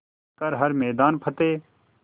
कर हर मैदान फ़तेह